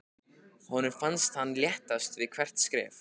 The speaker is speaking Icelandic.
Honum fannst hann léttast við hvert skref.